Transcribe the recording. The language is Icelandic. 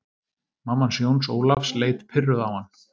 Mamma hans Jóns Ólafs leit pirruð á hann.